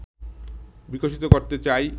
বিকশিত করতে চাই